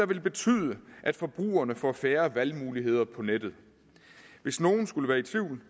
vil betyde at forbrugerne får færre valgmuligheder på nettet hvis nogen skulle være i tvivl kan